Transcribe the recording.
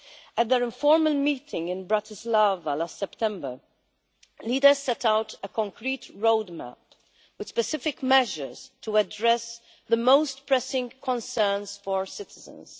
At their informal meeting in Bratislava last September, leaders set out a concrete roadmap with specific measures to address the most pressing concerns for citizens.